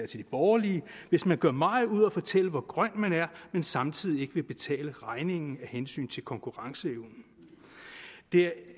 de borgerlige hvis man gør meget ud af at fortælle hvor grøn man er men samtidig ikke vil betale regningen af hensyn til konkurrenceevnen det